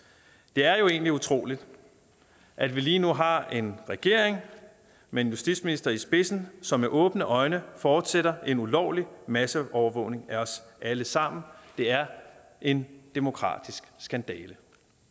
det er jo egentlig utroligt at vi lige nu har en regering med en justitsminister i spidsen som med åbne øjne fortsætter en ulovlig masseovervågning af os alle sammen det er en demokratisk skandale